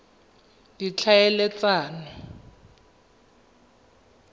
ditlhaeletsano